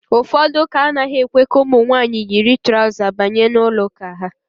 Ụfọdụ ụ́kà anaghị èkwé ka ụmụ nwaanyị yiri traụza banye n'ụlọụ́kà ha.